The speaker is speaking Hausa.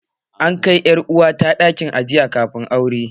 An kai ƴar uwa ta ɗakin ajiye amarya kafin aure